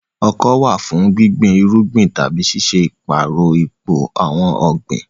Ọkọ́ wà fún gbígbin irúgbìn tàbí ṣíṣe ìpààrọ̀ ipò àwọn ọ̀gbìn.